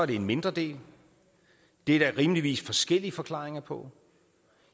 det er en mindre del det er der rimeligvis forskellige forklaringer på